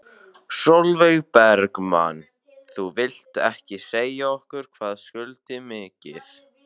Sólveig Bergmann: Þú vilt ekki segja okkur hvað skuldir mikið?